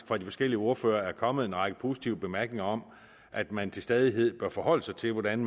fra de forskellige ordførere faktisk er kommet en række positive bemærkninger om at man til stadighed bør forholde sig til hvordan